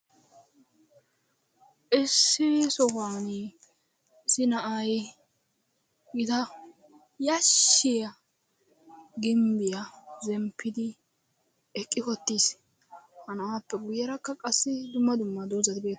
Issi sohuwan issi na'ay gita yaashshiya ginbbiya zemppidi eqqi uttiis. ha na'appe guyyerakka qassi dumma dumma doozati beettee....